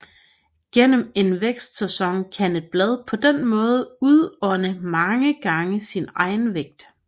Gennem en vækstsæson kan et blad på denne måde udånde mange gange sin egen vægt